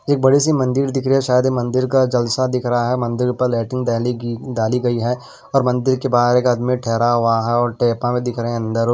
एक बड़ी सी मंदिर दिख रही है शायद यह मंदिर का जलसा दिख रहा है मंदिर ऊपर लाइतींग डाली गई डाली गई है और मंदिर के बाहर एक आदमी ठहरा हुआ है और टेपा में दिख रहे हैं अंदर।